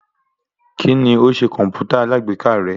Kíni ó ṣe kọ̀mpútà alágbèéká rẹ?